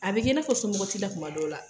A bi kɛ, i n'a fɔ somɔgɔ ti la kuma dɔw la